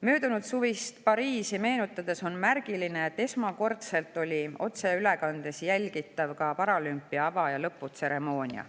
Möödunudsuvist Pariisi meenutades on märgiline, et esmakordselt oli otseülekandes jälgitav ka paralümpia ava‑ ja lõputseremoonia.